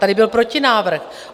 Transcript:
Tady byl protinávrh.